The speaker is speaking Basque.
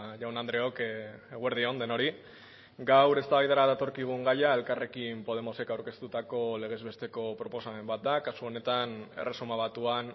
jaun andreok eguerdi on denoi gaur eztabaidara datorkigun gaia elkarrekin podemosek aurkeztutako legez besteko proposamen bat da kasu honetan erresuma batuan